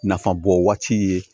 Nafa bɔ waati ye